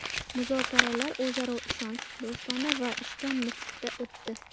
Muzokaralar o‘zaro ishonch, do‘stona va ishchan muhitda o‘tdi.